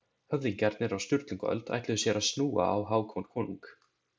Höfðingjarnir á Sturlungaöld ætluðu sér að snúa á Hákon konung.